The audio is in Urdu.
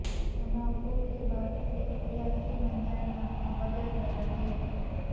دھماکوں کے بعد سے سیاسی منظرنامہ بدل گیا ہے